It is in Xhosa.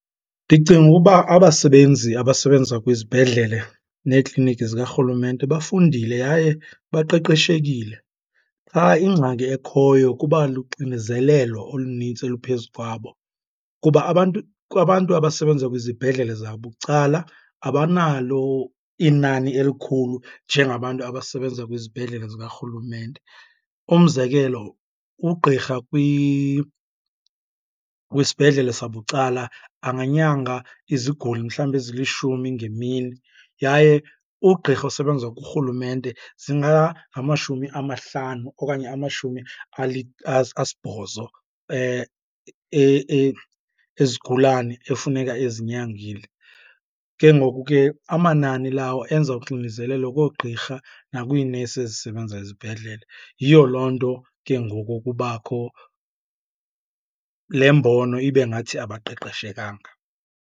Ndicinga ukuba abasebenzi abasebenza kwizibhedlele neekliniki zikarhulumente bafundile yaye baqeqeshekile, qha ingxaki ekhoyo kuba luxinezelelo olunintsi oluphezu kwabo. Kuba abantu, kwabantu abasebenza kwizibhedlele zabucala abanalo inani elikhulu njengabantu abasebenza kwizibhedlele zikarhulumente. Umzekelo, ugqirha kwisibhedlele sabucala anganyanga iziguli mhlawumbi ezilishumi ngemini yaye ugqirha osebenza kurhulumente zingangamashumi amahlanu okanye amashumi asibhozo ezigulane ekufuneka ezinyangile. Ke ngoku ke amanani lawo enza uxinezelelo koogqirha nakwiinesi ezisebenza ezibhedlele, yiyo loo nto ke ngoku kubakho le mbono ibe ngathi abaqeqeshekanga.